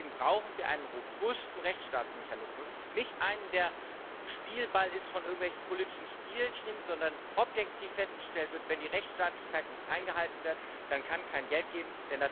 Deswegen brauchen wir einen robusten Rechtsstaatsmechanismus, nicht einen, der Spielball ist von irgendwelchen politischen Spielchen, sondern wo objektiv festgestellt wird Wenn die Rechtsstaatlichkeit nicht eingehalten wird, dann kann es kein Geld geben.